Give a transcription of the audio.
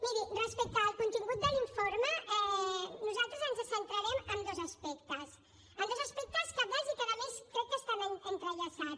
miri respecte al contingut de l’informe nosaltres ens centrarem en dos aspectes en dos aspectes cabdals i que a més crec que estan entrellaçats